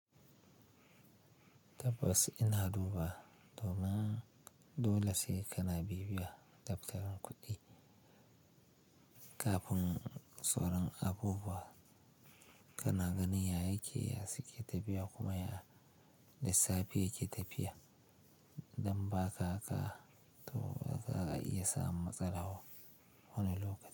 Tabbas ina duba, domin dole sai kana bibiya daftara kuɗi kafin tsoron abubuwa kana ganin ya yake, ya suke tafiya kuma ya lissafi yake tafiya, idan ba ka haka, to ba za a iya samun matsala wani lokaci.